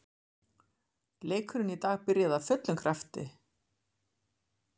Leikurinn í dag byrjaði af fullum krafti.